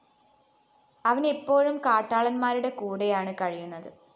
അവനെപ്പോഴും കാട്ടാളന്മാരുടെ കൂടെയാണു കഴിയുന്നത്